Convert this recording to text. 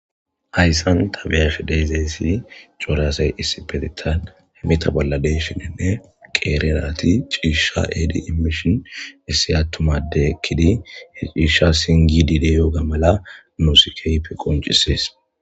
Haysani ta be'ashe de'izaysi cora asay issipetetan hemeta bolla de'shininne qeeri nati ciisha ehidi imishn issi atuma addey ekidi he ciisha singidi de'iyoga mala nuusi keehippe qoncisesi.